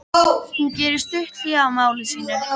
Hún gerir stutt hlé á máli sínu.